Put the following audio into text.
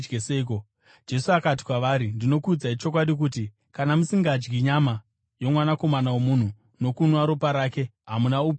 Jesu akati kwavari, “Ndinokuudzai chokwadi kuti, kana musingadyi nyama yoMwanakomana woMunhu nokunwa ropa rake, hamuna upenyu mamuri.